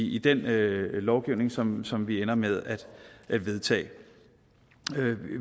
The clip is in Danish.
i den lovgivning som som vi ender med at vedtage